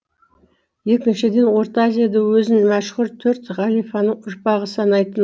екіншіден орта азияда өзін мәшһүр төрт халифаның ұрпағы санайтын